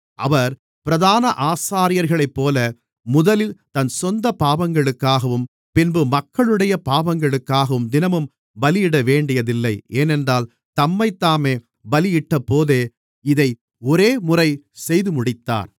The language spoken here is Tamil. அவர் பிரதான ஆசாரியர்களைப்போல முதலில் தன் சொந்தப் பாவங்களுக்காகவும் பின்பு மக்களுடைய பாவங்களுக்காகவும் தினமும் பலியிடவேண்டியதில்லை ஏனென்றால் தம்மைத்தாமே பலியிட்டபோதே இதை ஒரேமுறை செய்துமுடித்தார்